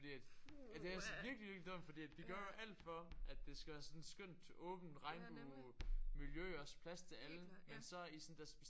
Puha ja. Ja nemlig. Helt klart ja.